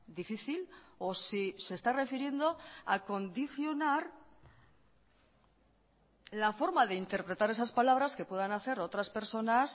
difícil o si se está refiriendo a condicionar la forma de interpretar esas palabras que puedan hacer otras personas